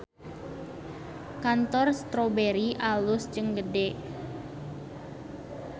Kantor Strawberry alus jeung gede